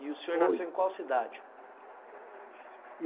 E o senhor nasceu em qual cidade?